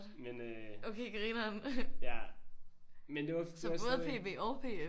Men øh ja. Men det var sådan